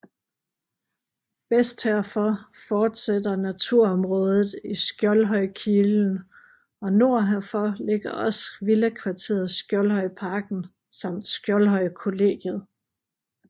Vest herfor fortsætter naturområdet i Skjoldhøjkilen og nord herfor ligger også villakvarteret Skjoldhøjparken samt Skjoldhøjkollegiet